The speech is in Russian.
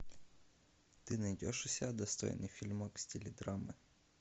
ты найдешь у себя достойный фильмак в стиле драмы